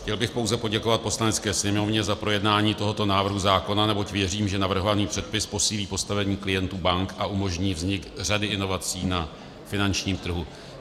Chtěl bych pouze poděkovat Poslanecké sněmovně za projednání tohoto návrhu zákona, neboť věřím, že navrhovaný předpis posílí postavení klientů bank a umožní vznik řady inovací na finančním trhu.